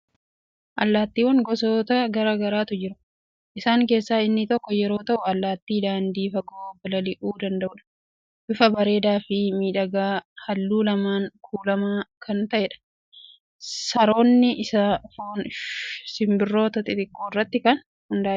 Allaattiiwwan gosoota garaa garaatu jiru. Isaan keessaa inni tokko yeroo ta'u, allaattii daandii fagoo balalii'uu danda'udha. Bifa bareedaa fi miidhagaa halluu lamaan kuulamaa kan ta'edha. Sooranni isaa foon simbirroota xixiqqoo irratti kan hundaa'edha.